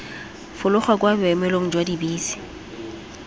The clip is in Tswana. fologa kwa boemelong jwa dibese